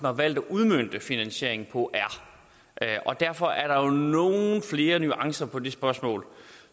har valgt at udmønte finansieringen på er derfor er der jo nogle flere nuancer i det spørgsmål